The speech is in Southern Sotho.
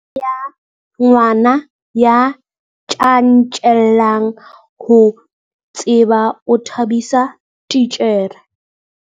Ngwana ya tjantjellang ho tseba o thabisa titjhere.